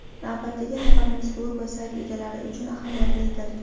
Navbatdagi xabarimiz blog va sayt egalari uchun ahamiyatlidir.